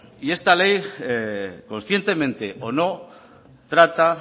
y esta ley conscientemente o no trata